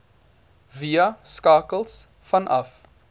via skakels vanaf